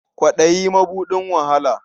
Kwaɗayi mabuɗin wahala.